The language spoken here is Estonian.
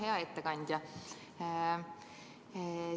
Hea ettekandja!